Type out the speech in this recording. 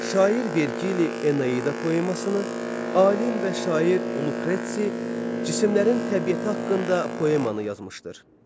Şair Vergili Eneida poemasını, alim və şair Lukretsi cisimlərin təbiəti haqqında poemannı yazmışdır.